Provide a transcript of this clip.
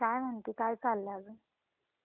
हम्म, काय म्हणते काय चाललंय अजून?